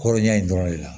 Kɔrɔ ɲɛ in dɔrɔn de la